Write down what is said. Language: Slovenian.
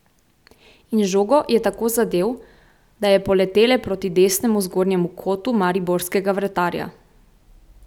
In žogo je tako zadel, da je poletele proti desnemu zgornjemu kotu mariborskega vratarja.